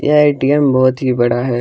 यह एटीएम बहुत ही बड़ा है।